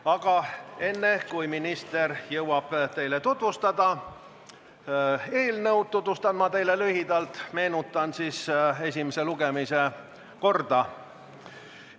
Aga enne, kui minister jõuab teile eelnõu tutvustada, meenutan ma lühidalt esimese lugemise korda.